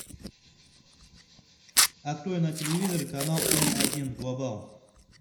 открой на телевизоре канал эм один глобал